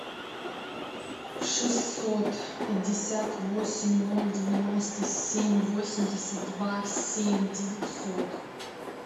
шестьсот пятьдесят восемь ноль девяносто семь восемьдесят два семь девятьсот